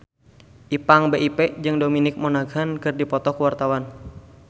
Ipank BIP jeung Dominic Monaghan keur dipoto ku wartawan